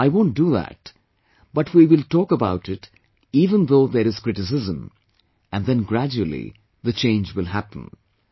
No, I won't do that, but we will talk about it even though there is criticism, and then gradually, the change will happen